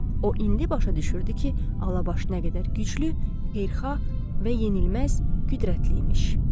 O indi başa düşürdü ki, Alabaş nə qədər güclü, qeyrxah və yenilməz qüdrətli imiş.